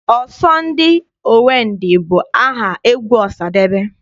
Ọsọ ndị owe ndị bụ aha egwu Ọsadebe.